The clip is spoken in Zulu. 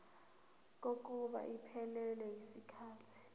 kokuba iphelele yisikhathi